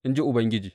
in ji Ubangiji.